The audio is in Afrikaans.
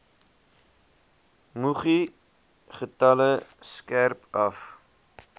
muggiegetalle skerp af